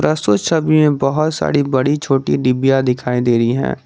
प्रस्तुत छवि में बहुत सारी बड़ी छोटी डिबिया दिखाई दे रही हैं।